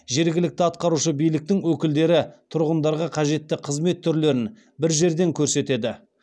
жергілікті атқарушы биліктің өкілдері тұрғындарға қажетті қызмет түрлерін бір жерден көрсетеді